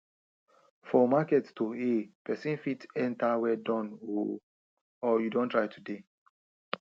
for market to hail person fit enter well Accepted o or you don try today